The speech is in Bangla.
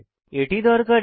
এটি দরকারী